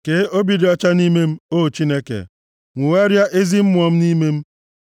Kee obi dị ọcha nʼime m, O Chineke, nwogharịa ezi mmụọ nʼime m.